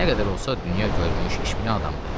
Nə qədər olsa, dünya görmüş, işbilən adamdır.